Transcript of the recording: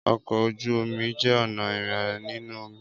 Ọkọ ojú omi jẹ ọna irin ninu omi